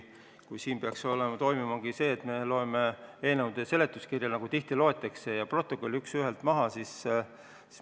Kas siin saalis peaks toimumagi see, et me loeme protokollid ja eelnõude seletuskirjad üks ühele maha, nagu tihti juhtub?